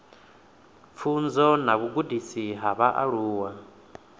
pfunzo na vhugudisi ha vhaaluwa